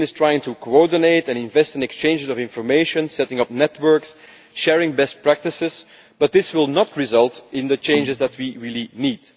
The Commission is trying to coordinate, invest and exchange information, setting up networks and sharing best practices, but this will not result in the changes that we really need.